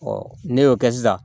ne y'o kɛ sisan